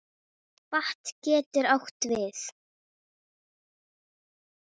Vatn getur átt við